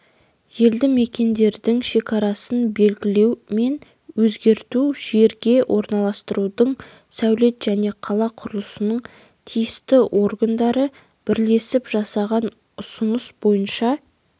елді мекендердің шекарасын белгілеу мен өзгерту жерге орналастырудың сәулет және қала құрылысының тиісті органдары бірлесіп жасаған ұсыныс бойынша